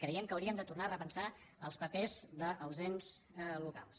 creiem que hauríem de tornar a repensar els papers dels ens locals